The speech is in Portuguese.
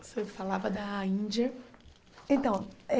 Você falava da Índia. Então